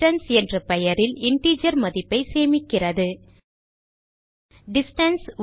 distance என்ற பெயரில் integer மதிப்பை சேமிக்கிறது டிஸ்டன்ஸ்